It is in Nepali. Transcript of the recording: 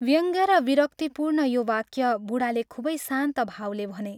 व्यङ्ग र विरक्तिपूर्ण यो वाक्य बूढाले खूबै शान्त भावले भने।